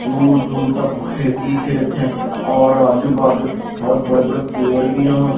दूर दूर तक खेत ही खेत हैं और आजू बाजू बहोत बड़े बड़े पेड़ भी यहां पे--